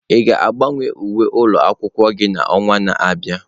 Ị ga-agbanwe uwe ụlọ akwụkwọ gị n'ọnwa na-abịa?